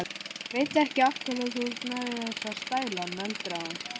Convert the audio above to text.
Ég veit ekki af hverju þú ert með þessa stæla, nöldraði hún.